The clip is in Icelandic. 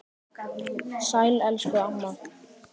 Sæl elsku amma.